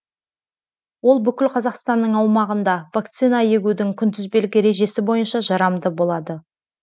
ол бүкіл қазақстанның аумағында вакцина егудің күнтізбелік ережесі бойынша жарамды болады